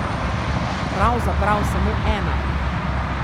Pravzaprav samo ena.